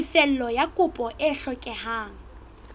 tefello ya kopo e hlokehang